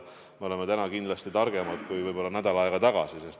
Me oleme täna targemad kui võib-olla nädal aega tagasi.